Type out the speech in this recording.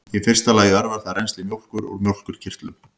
í fyrsta lagi örvar það rennsli mjólkur úr mjólkurkirtlum